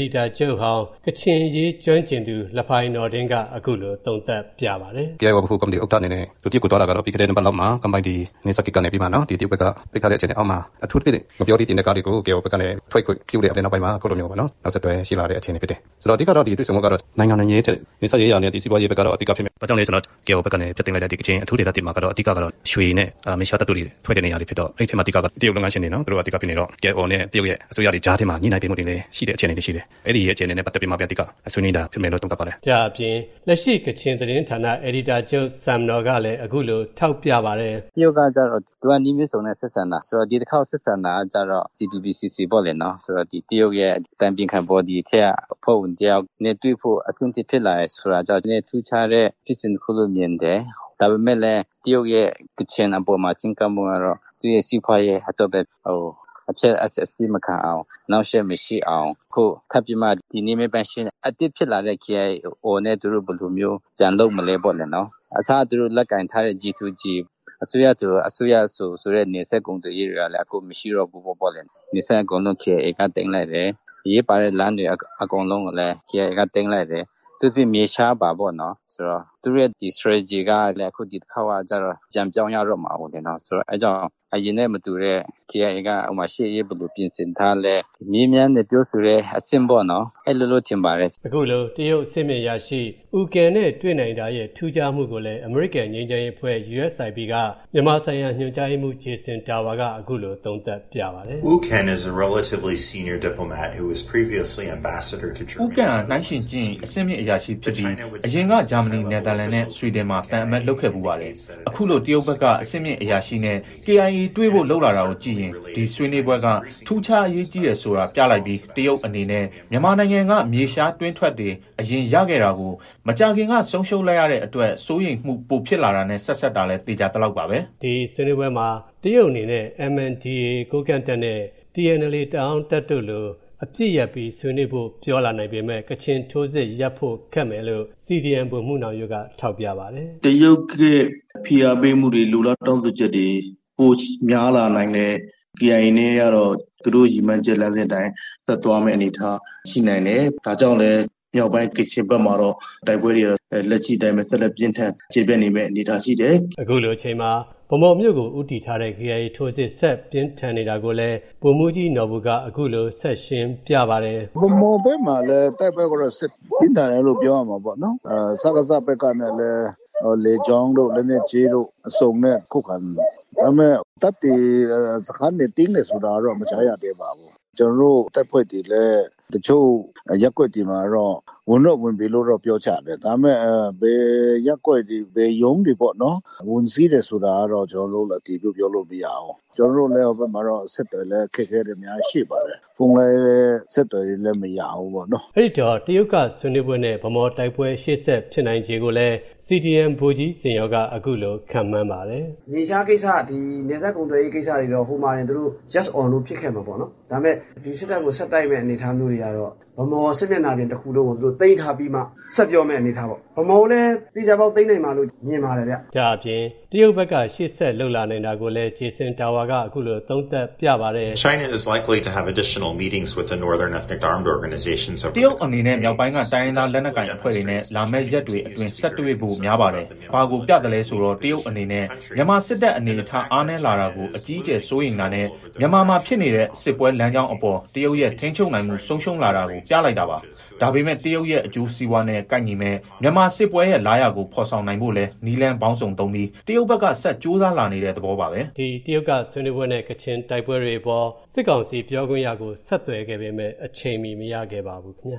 ဒီတာချုပ်ဟောင်း ကချင်အရေးကျွမ်းကျင်သူ လဖိုင်နော်ဒင်းက အခုလို သုံးသပ်ပြပါတယ်။ "KIA ဗဟိုကော်မတီဥက္ကဋ္ဌ အနေနဲ့ အခုတရုတ်ကိုသွားတာကတော့ ပြီးခဲ့တဲ့ တပတ်လောက်မှာ ကန်ပိုင်တီနယ်စပ်ဂိတ်ကနေပြီးမှ တရုတ်ဘက်က ပိတ်ထားတဲ့ အထူးသဖြင့် ငှက်ပျောသီးတင်တဲ့ကားတွေကို KIO ဘက်က အခုလိုမျိုးပေါ့နော် နောက်ဆက်တွဲရှိလာတဲ့အခြေအနေဖြစ်တယ်။ ဆိုတော့ အဓိကကတော့ တွေ့ဆုံမှုက နိုင်ငံရေးထက် နယ်စပ်ရေးရာနဲ့ စီးပွားရေးက အဓိကဖြစ်မယ်။ ဘာကြောင့်လဲဆိုတော့ KIO ဘက်ကနေ အဓိကဖျက်သိမ်းလိုက်တဲ့ ကချင်အထူးဒေသ မှာကတော့ အဓိကကတော့ ရွှေနဲ့မြေရှားသတ္တုတွေ ထွက်တဲ့နေရာတွေဖြစ်တော့ အဲဒီအထဲမှာ အဓိကက တရုတ်လုပ်ငန်းရှင်တွေ သူတို့ကအဓိကဖြစ်နေတော့ KIO နဲ့ တရုတ်ရဲ့ အစိုးရတွေကြားထဲမှာ ညှိနှိုင်းပေးမှုတွေလည်း ရှိတယ့်အခြေအနေတွေရှိတယ်။ အဲဒီရဲ့အခြေအနေနဲ့ပတ်သက်ပြီးမှပဲ အဓိကဆွေးနွေးတာဖြစ်မယ်လို့ သုံးသပ်ပါတယ်။" ဒါ့အပြင် လက်ရှိ ကချင်သတင်းဌာန အယ်ဒီတာချုပ် ဆမ်နော်ကလည်း အခုလို ထောက်ပြပါတယ်။ "တရုတ်ကကျတော့ သူတို့ကနည်းမျိုးစုံနဲ့ ဆက်ဆံတာဆိုတော့ ဒီတခေါက်ဆက်ဆံတာကကျတော့ CPPCC ပေါ့။ ဒီတရုတ်ရဲ့ အတိုင်ပင်ခံဘော်ဒီထဲက အဖွဲ့ဝင်တယောက်နဲ့တွေ့ဖို့ အဆင့်ထိဖြစ်လာတာကျတော့ နည်းနည်းထူးခြားတဲ့ဖြစ်စဉ်လို့မြင်တယ်။ ဒါပေမယ့်လည်း တရုတ်ရဲ့ ကချင်အပေါ်မှာ ချဉ်းကပ်မှုကတော့ သူ့စီးပွားရေးအတွက်ပဲ။ အဖျက်အဆီးမခံအောင် အနှောက်အယှက်မရှိအောင်။ အသစ်ဖြစ်လာတဲ့ KIO နဲ့ ဘယ်လိုပြန်လုပ်မလဲပေါ့နော်။ အစက သူတို့လက်ကိုင်ထားတဲ့ G to G နယ်စပ်ကုန်သွယ်ရေးကလည်း အခုမရှိတော့ဘူးပေါ့လေ။ အရေးပါတဲ့လမ်းတွေအကုန်လုံးကိုလည်း KIA က သိမ်းလိုက်တယ်။ အထူးသဖြင့် မြေရှားအပါပေါ့နော်။ သူတို့ရဲ့ Strategy ကလည်း ဒီတခါပြန်ပြောင်းရတော့မှာပေါ့။ ဆိုတော့ အဲဒါကြောင့် အရင်နဲ့မတူတဲ့ KIA က ရှေ့ရေးဘယ်လိုပြင်ဆင်ထားလဲ။ မေးမြန်းတဲ့ ပြောဆိုတဲ့အကျင့်ပေါ့နော်။ အဲလိုလို့ ထင်ပါတယ်။" အခုလို တရုတ်အဆင့်မြင့် အရာရှိ Wu Ken နဲ့ တွေ့နိုင်တာရဲ့ ထူးခြားမူကိုလည်း အမေရိကန်ငြိမ်းချမ်းရေးအဖွဲ့ USIP က မြန်မာဆိုင်ရာ ညွန်ကြားရေးမူး Jason Tower က အခုလို သုံးသပ်ပြပါတယ်။ "Wu Ken က နှိုင်းယှဉ်ကြည့်ရင် အဆင့်မြင့်အရာဖြစ်ပြီး၊ အရင်က ဂျာမနီ၊ နယ်သာလန်နဲ့ ဆွီဒင်မှာ သံအမတ်လုပ်ခဲ့ဖူးပါတယ်။ အခုလို တရုတ်ဘက်က အဆင့်မြင့်အရာရှိနဲ့ KIA တွေ့ဖို့ လုပ်လာတာကိုကြည့်ရင် ဒီဆွေးနွေးပွဲက ထူးခြား အရေးကြီးတယ်ဆိုတာ ပြလိုက်ပြီး၊ တရုတ်အနေနဲ့ မြန်မာနိုင်ငံက မြေရှားတွင်းထွက်တွေ အရင် ရခဲ့တာကို မကြာခင်က ဆုံးရှုံးလိုက်ရတာအတွက် စိုးရိမ်မှုပိုဖြစ်လာတာနဲ့ ဆက်စပ်တာလည်း သေချာသလောက်ပါပဲ။" ဒီဆွေးနွေးပွဲမှာ တရုတ်အနေနဲ့ MNDAA ကိုးကန့်တပ်နဲ့ TNLA တအန်းတပ်တို့လို့ အပစ်ရပ်ပြီး ဆွေးနွေးဖို့ ပြောလာနိုင်ပေမဲ့ ကချင်ထိုးစစ်တွေကို ရပ်ဖို့ခက်မယ်လို့ CDM ဗိုလ်မှူး နောင်ရိုးက ထောက်ပြပါတယ်။ "တရုတ်ရဲ့ဖိအားပေးမှုတွေ လိုလားတောင်းဆိုချက်တွေ ပိုများလာနိုင်တယ်။ KIA အနေနဲ့ကတော့ သူတို့ရည်မှန်းချက်အတိုင်း ဆက်သွားနိုင်တဲ့အနေအထားရှိနိုင်တယ်။ ဒါကြောင့်လည်း မြောက်ပိုင်း ကချင်ဘက်မှာတော့ တိုက်ပွဲတွေက ဆက်လက်ပြင်းထန်ကျယ်ပြန့်နေမယ့် အနေအထားရှိတယ်။" အခုလို အချိန်မှာ ဗန်းမော်မြို့ကို ဦးတည်ထားတဲ့ KIA ထိုးစစ် ဆက်ပြင်းထန်နေတာကိုလည်း ဗိုလ်မှုးကြီးနော်ဘူက အခုလို ဆက်ရှင်းပြပါတယ်။ "ဗန်းမော်ဘက်မှာလည်း တိုက်ပွဲကို ဆက်ဖိနိုင်တယ်လို့ပြောရမှာပေါ့နော်။ စကစဘက်ကလည်း လေကြောင်းတို့၊ လက်နက်ကြီးတို့ အစုံနဲ့ ခုခံနေပါတယ်။ ဒါပေမယ့် စခန်းတွေ သိမ်းတယ်ဆိုတာတော့ မကြားရသေးပါဘူး။ ကျွန်တော်တို့ တပ်ဖွဲ့တွေလည်း တချို့ရပ်ကွက်တွေမှာ ဝင်တော့ဝင်ပြီလို့ပြောကြတယ်။ ဒါပေမယ့် ဘယ်ရပ်ကွက်တွေ ဘယ်ရုံးတွေပေါ့နော် ဝင်စီးတယ်ဆိုတာတော့ အတည်ပြုပြောလို့မရဘူး၊ ကျွန်တော်တို့လည်း ဟိုဘက်မှာတော့ အဆက်အသွယ်လည်း အခက်အခဲတွေအများကြီးရှိပါတယ်။ အခုလည်း အဆက်သွယ်ရေးတွေတော့ မရဘူးပေါ့နော်။" အဲဒီတော့ တရုတ်ကဆွေးနွးပွဲနဲ့ ဗန်းမော်တိုက်ပွဲ ရှေ့ဆက်ဖြစ်နိုင်ချေကိုလည်း CDM ဗိုလ်ကြီး ဇင်ယော်က အခုလိုခန့်မှန်းပါတယ်။ "မြေရှားကိစ္စနယ်စပ်ကုန်သွယ်ရေးကိစ္စတွေတော့ ဟိုမှာတင် Yes or No ဖြစ်ခဲ့မယ်ပေါ့နော်။ ဒါပေမယ့် ဒီစစ်တပ်ကိုဆက်တိုက်မယ့် အနေအထားမျိုးတွေကတော့ ဗန်းမော်စစ်မျက်နှာပြင်တခုလုံးကို သိမ်းထားပြီးမှ ဆက်ပြောရမယ့်အနေအထားပေါ့။ ဗန်းမော်ကိုလည်း သေချာပေါက်သိမ်းနိုင်မှာလို့ မြင်ပါတယ် ခင်မျ။" ဒါ့အပြင် တရုတ်ဘက်က ရှေ.ဆက်လုပ်လာနိုင်တာကိုလည်း Jason Tower က အခုလို သုံးသပ်ပြပါတယ်။ "တရုတ်အနေနဲ့ မြောက်ပိုင်းက တိုင်းရင်းသားလက်နက်ကိုင်အဖွဲ့တွေနဲ့ လာမဲ့ရက်တွေအတွင်း ဆက်တွေ့ဖို့ များပါတယ်။ ဒါက ဘာကိုပြသလဲဆိုတော့ တရုတ်အနေနဲ့ မြန်မာစစ်တပ် အနေအထား အားနည်းလာတာကို အကြီးအကျယ်စိုးရိမ်တာနဲ့ မြန်မာမှာဖြစ်နေတဲ့ စစ်ပွဲလမ်းကြောင်းအပေါ် တရုတ်ရဲ့ ထိန်းချုပ်နိုင်မှု ဆုံးရှုံးလာတာကို ပြလိုက်တာပါ။ ဒါပေမဲ့ တရုတ်ရဲ့ အကျိုးစီးပွားနဲ့ ကိုက်ညီမဲ့ မြန်မာစစ်ပွဲရဲ့လားရာကို ဖော်ဆောင်နိုင်ဖို့လည်း နည်းလမ်းပေါင်းစုံသုံးပြီး တရုတ်ဘက်က ဆက်ကြိုးစားလာနေတဲ့ သဘောပါပဲ။" ဒီ တရုတ်က ဆွေးနွေးပွဲနဲ့ ကချင်တိုက်ပွဲတွေအပေါ် စစ်ကောင်စီ ပြောခွင့်ရကို ဆက်သွယ်ခဲ့ပေမဲ့ အချိန်မီ မရခဲ့ပါဘူး ခင်ဗျာ